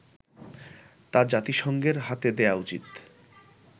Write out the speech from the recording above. তা জাতিসংঘের হাতে দেয়া উচিৎ